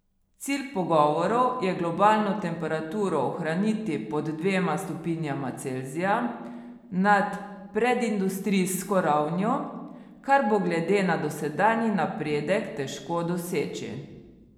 Cilj pogovorov je globalno temperaturo ohraniti pod dvema stopinjama Celzija nad predindustrijsko ravnjo, kar bo glede na dosedanji napredek težko doseči.